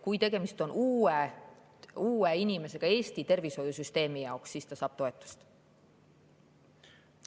Kui tegemist on uue inimesega Eesti tervishoiusüsteemi jaoks, siis ta saab toetust.